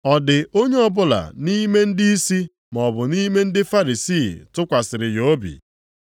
Ọ dị onye ọbụla nʼime ndịisi maọbụ nʼime ndị Farisii tụkwasịrị ya obi?